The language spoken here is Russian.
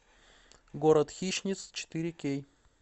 город хищниц четыре кей